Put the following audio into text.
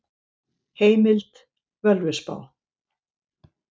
Heimild: Völuspá.